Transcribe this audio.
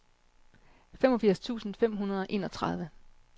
femogfirs tusind fem hundrede og enogtredive